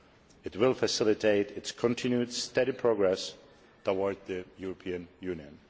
It will facilitate its continued steady progress towards the European Union.